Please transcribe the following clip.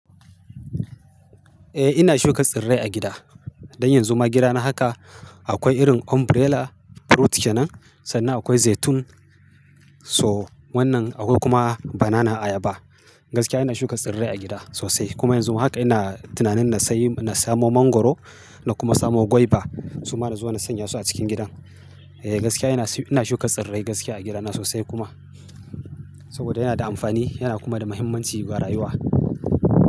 Eh ina shuka tsirrai a gida. Dan yanzu ma gidana haka akwai irin umbrella fruit kenan, sannan akwai zaitun. So wannan akwai kuma banana ayaba. Gaskiya ina shuka tsirrai a gida sosai kuma yanzu ma haka ina tunanin na sayi, na samo mangwaro na kuma samo guava suma na zo na sanya su a cikin gidan. Eh gaskiya ina shuka tsirrai gaskiya a gidana sosai kuma. Saboda yana da amfani yana kuma da muhimmanci ga rayuwa.